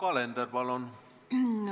Yoko Alender, palun!